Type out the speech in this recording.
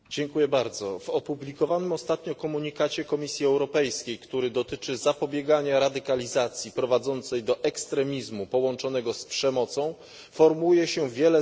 W opublikowanym ostatnio komunikacie Komisji Europejskiej, który dotyczy zapobiegania radykalizacji prowadzącej do ekstremizmu połączonego z przemocą, formułuje się wiele zaleceń.